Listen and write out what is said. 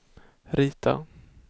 rita